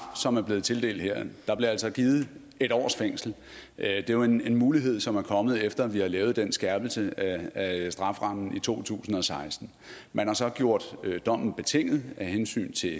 som er blevet tildelt her der bliver altså givet en års fængsel det er jo en mulighed som er kommet efter vi har lavet den skærpelse af strafferammen i to tusind og seksten man har så gjort dommen betinget af hensyn til